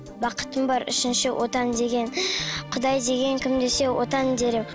бақытым бар үшінші отан деген құдай деген кім десе отан дер едім